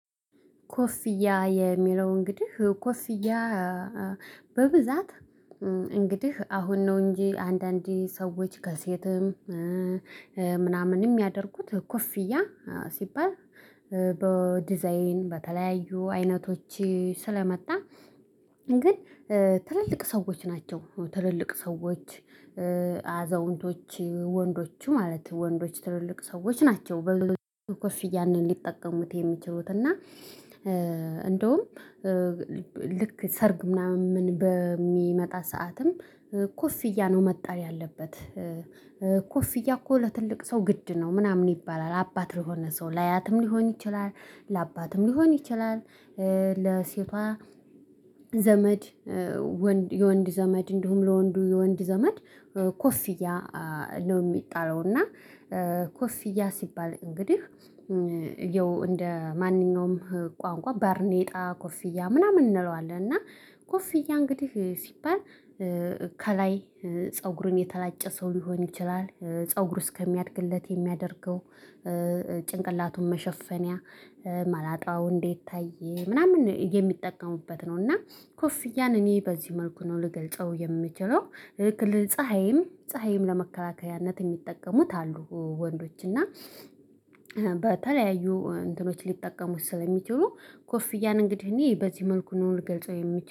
ኮፍያ የሚለው እንግዲህ ኮፍያ በብዛት እንግዲህ አሁን ነው እንጂ አንዳንዴ ሰዎች ከሴትም ምናምንም እሚያደርጉት ኮፍያ ሲባል በዲዛይን በተለያዩ አይነቶች ስለመጣ። ግን ትልልቅ ሰዎች ናቸው። ትልልቅ ሰዎች አዛውንቶች ወንዶችም ማለት ወንዶች ትልልቅ ሰዎች ናቸው በብዛት ኮፍያን ሊጠቀሙት የሚችሉት እና። እንደውም ልክ ሰርግ ምናምን በሚመጣ ሰዓትም ኮፍያ ነው መጣል ያለበት። ኮፍያ እኮ ለትልቅ ሰው ግድ ነው ምናምን ይባላል። አባት ለሆነ ሰው ለአያትም ሊሆን ይችላል ለአባትም ሊሆን ይችላል። ለሴቷ ዘመድ የወንድ ዘመድ እንዲሁም ለወንዱ የወንድ ዘመድ ኮፍያ ነው እሚጣለው። እና ኮፍያ ሲባል እንግዲህ ይኸው እንደ ማንኛውም ቋንቋ ባርኔጣ ኮፍያ ምናምን እንለዋለን። እና ኮፍያ እንግዲህ ሲባል ከላይ ፀጉሩን የተላጨ ሰው ሊሆን ይችላል ፀጉሩ እስከሚያድግለት የሚያደርገው። ጭንቅላቱን መሸፈኛ መላጣው እንዳይታይ ምናምን የሚጠቀሙበት ነው። እና ኮፍያን እኔ በዚህ መልኩ ነው ልገልጸው የምችለው። ፀሀይም ፀሀይም ለመከላከያነት እሚጠቀሙት አሉ። ወንዶች እና በተለያዩ እንትኖች ሊጠቀሙት ስለሚችሉ ኮፍያ እንግዲህ እኔ በዚህ መልኩ ነው ልገልጸው የምችለው